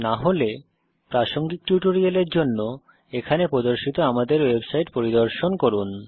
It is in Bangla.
না হলে প্রাসঙ্গিক টিউটোরিয়ালের জন্য এখানে প্রদর্শিত আমাদের ওয়েবসাইট পরিদর্শন করুন